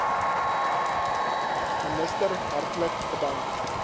minister hartlik bedank